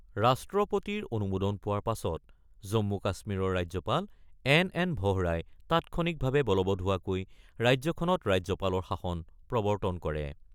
ৰাষ্ট্ৰপতিৰ অনুমোদন পোৱাৰ পাছত জম্মু-কাশ্মীৰৰ ৰাজ্যপাল এন এন ভোহৰাই তাৎক্ষণিকভাৱে বলবৎ হোৱাকৈ ৰাজ্যখনত ৰাজ্যপালৰ শাসন প্ৰবৰ্তন কৰে।